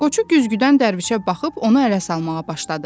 Qoçu güzgüdən Dərvişə baxıb onu ələ salmağa başladı.